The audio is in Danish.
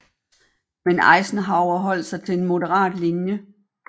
Men Eisenhower holdt sig til en moderat linje